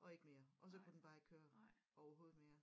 Og ikke mere og så kunne den bare ikke køre overhovedet mere